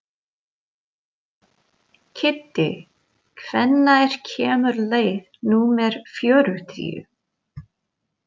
Kiddi, hvenær kemur leið númer fjörutíu?